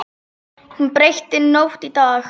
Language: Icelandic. Hún breytti nótt í dag.